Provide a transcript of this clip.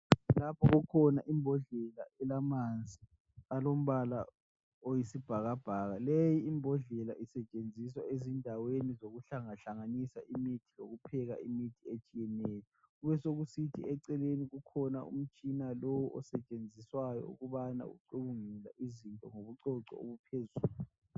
Lapho kukhona imbodlela elamanzi alombala oyisibhakabhaka. Leyi imbodlela isetshenziswa ezindaweni zokuhlangahlanganisa imithi yokupheka imithi etshiyeneyo. Kubesokusithi eceleni kukhona umtshina lo osetshenziswayo ukubana ucubungule izinto ngobucoco obuphezulu.